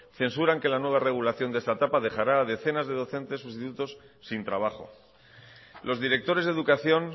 censuran que la nueva regulación de esta etapa dejarán a decenas de docentes sustitutos sin trabajo los directores de educación